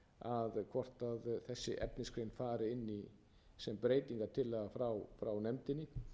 dögum hvort þessi efnisgrein fari inn í sem breytingartillaga frá nefndinni